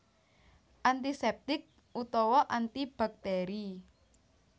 Antiseptik utawa antibakteri